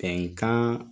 Bɛnkan